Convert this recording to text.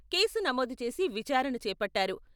Case నమోదు చేసి విచారణ చేపట్టారు.